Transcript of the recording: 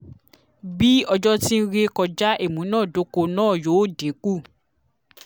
bi ojo ti n re kọja imunadoko naa yoo dinku